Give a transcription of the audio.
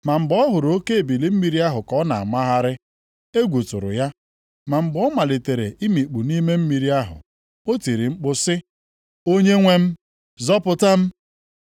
Ma mgbe ọ hụrụ oke ebili mmiri ahụ ka ọ na-amagharị; egwu tụrụ ya. Ma mgbe ọ malitere imikpu nʼime mmiri ahụ, o tiri mkpu sị, “Onyenwe m! Zọpụta m!”